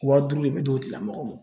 Wa duuru de bɛ d'o tigila mɔgɔ ma